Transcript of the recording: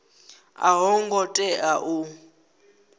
a yo ngo tea u